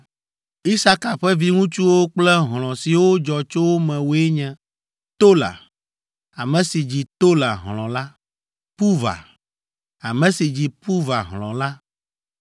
Isaka ƒe viŋutsuwo kple hlɔ̃ siwo dzɔ tso wo me woe nye: Tola, ame si dzi Tola hlɔ̃ la, Puva, ame si dzi Puva hlɔ̃ la.